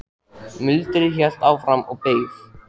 Muldrið hélt áfram og ég beið.